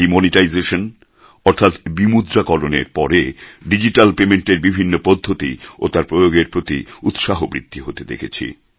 demonetisation অর্থাৎ বিমুদ্রাকরণের পরে ডিজিট্যাল পেমেণ্টের বিভিন্ন পদ্ধতি ও তার প্রয়োগের প্রতি উৎসাহ বৃদ্ধি হতে দেখেছি